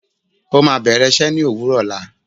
Ó máa bẹ̀rẹ̀ iṣẹ́ ní òwúrọ̀ ọ̀la